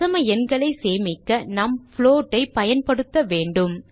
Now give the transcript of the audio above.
தசம எண்களை சேமிக்க நாம் float ஐ பயன்படுத்த வேண்டும்